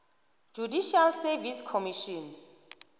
judicial service commission